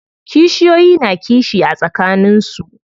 Kishiyoyi na kishi a tsakanin su.